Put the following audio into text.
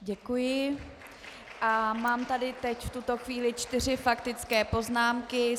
Děkuji a mám tady teď v tuto chvíli čtyři faktické poznámky.